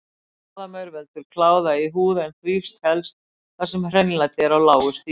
Kláðamaur veldur kláða í húð en þrífst helst þar sem hreinlæti er á lágu stigi.